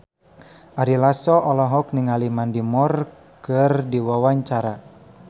Ari Lasso olohok ningali Mandy Moore keur diwawancara